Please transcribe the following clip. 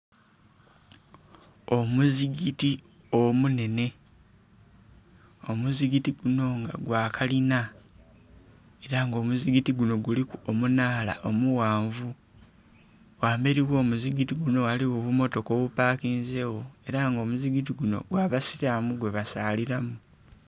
Omuzigiti omunhenhe, omuzigiti guno nga gwa kalinha era nga omuzigiti guno guliku omunhala omughanvu, wamberi ogho omuzigiti guno ghaligho obumotoka obupakinzegho era nga omuzigiti guno gw'abasiramu gwe basaliramu.